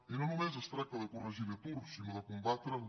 i no només es tracta de corregir l’atur sinó de combatre’l